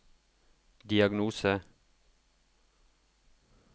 diagnose